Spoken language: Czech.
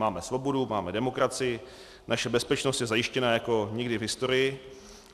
Máme svobodu, máme demokracii, naše bezpečnost je zajištěna jako nikdy v historii.